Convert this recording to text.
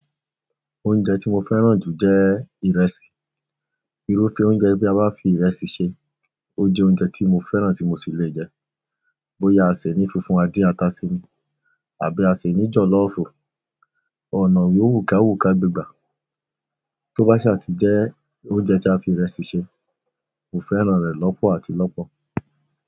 Oúnjẹ tí mo fẹ́ràn jù jẹ́ ìrẹsì. Irúfẹ́ oúnjẹ bí a bá fi ìrẹsì ṣe, ó jẹ́ oúnjẹ tí mo fẹ́ràn tí mo sì lè jẹ. Bóyá a sè ní funfun adìẹ àtàsimí àbí a sè ní jọ̀lọ́ọ̀fù, ọ̀nà òun yóò wùkàwùka gbígbà. Tó bá saà ti jẹ́ oúnjẹ tí a fi ìrẹsì ṣe, mo fẹ́ràn rẹ̀ lọ́pọ̀ àti lọ́pọ̀.